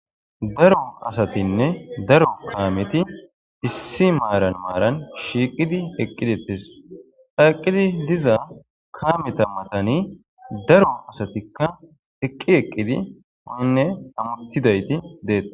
daro asatinne daro kaameti issi maaran maaran shiiqidi eqqidetes qhaqqidi diza kaameta matani daro asatikka eqqi eqqidi woynne hamuttidayti detes